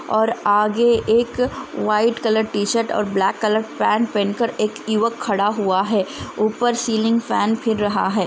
एक लड़का व्हाइट लड़का टी-शर्ट --